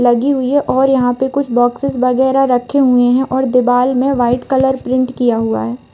लगी हुई है और यहाँ पे कुछ बॉक्सेस वगैरा रखे हुए हैं और दीवाल में वाइट कलर प्रिंट किया हुआ है।